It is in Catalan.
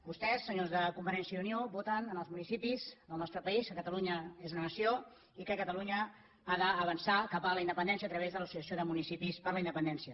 vostès senyors de convergència i unió voten en els municipis del nostre país que catalunya és una nació i que catalunya ha d’avançar cap a la independència a través de l’associació de municipis per la independència